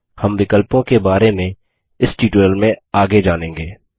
हम विकल्पों के बारे इस ट्यूटोरियल में आगे जानेंगे